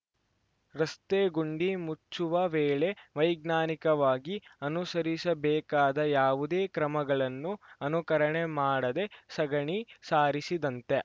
ರಸ್ತೆ ಗುಂಡಿ ಮುಚ್ಚುವ ವೇಳೆ ವೈಜ್ಞಾನಿಕವಾಗಿ ಅನುಸರಿಸಬೇಕಾದ ಯಾವುದೇ ಕ್ರಮಗಳನ್ನು ಅನುಕರಣೆ ಮಾಡದೆ ಸಗಣಿ ಸಾರಿಸಿದಂತೆ